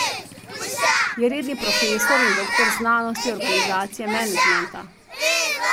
Je redni profesor in doktor znanosti organizacije in menedžmenta.